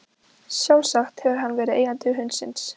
Sjálfsagt hefur hann verið eigandi hundsins.